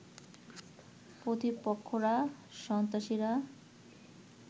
প্রতিপক্ষরা সন্ত্রাসীরা